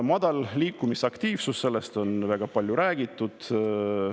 Madalast liikumisaktiivsusest on väga palju räägitud.